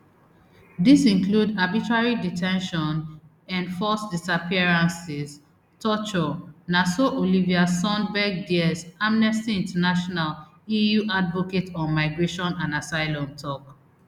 dis include arbitrary de ten tion enforced disappearances torture na so olivia sundberg diez amnesty international eu advocate on migration and asylum tok